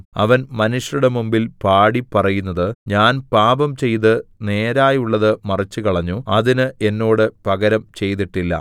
അവൻ മനുഷ്യരുടെ മുമ്പിൽ പാടി പറയുന്നത് ഞാൻ പാപംചെയ്ത് നേരായുള്ളത് മറിച്ചുകളഞ്ഞു അതിന് എന്നോട് പകരം ചെയ്തിട്ടില്ല